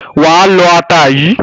Wà á lọ ata yìí.